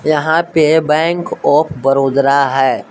यहां पे bank of बड़ोदरा है।